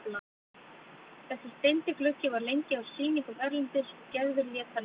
Þessi steindi gluggi var lengi á sýningum erlendis og Gerður lét hann ekki.